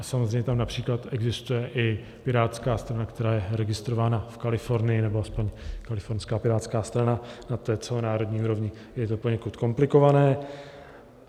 A samozřejmě tam například existuje i pirátská strana, která je registrována v Kalifornii, nebo aspoň Kalifornská pirátská strana, na té celonárodní úrovni je to poněkud komplikované.